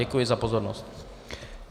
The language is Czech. Děkuji za pozornost.